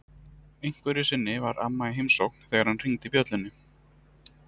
Einhverju sinni var amma í heimsókn þegar hann hringdi bjöllunni.